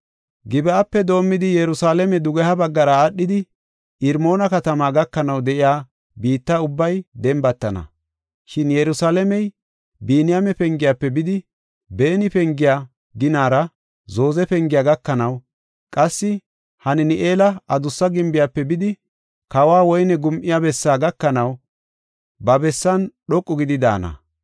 Gib7ape doomidi Yerusalaame dugeha baggara aadhidi Irmoona katamaa gakanaw de7iya biitta ubbay dembatana. Shin Yerusalaamey Biniyaame Pengiyafe bidi, beni pengiya ginara Zooze Pengiya gakanaw, qassi Hanan7eela Adussa Gimbiyafe bidi, kawo woyne gum7iya bessaa gakanaw ba bessan dhoqu gidi daana.